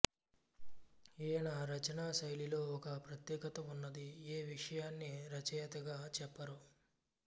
ఈయన రచనా శైలిలో ఒక ప్రత్యేకత ఉన్నది ఏ విషయాన్ని రచయతగా చెప్పారు